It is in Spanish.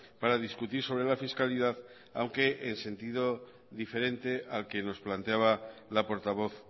para discutir sobre la fiscalidad aunque en sentido diferente al que nos planteaba la portavoz